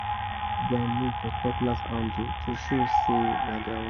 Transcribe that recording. dem write their name for cutlass handle to show say na their own